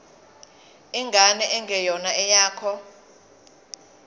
ingane engeyona eyakho